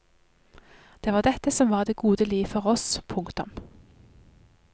Det var dette som var det gode liv for oss. punktum